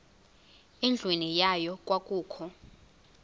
endlwini yayo kwakukho